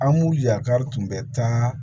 An b'u yakari tun bɛ taa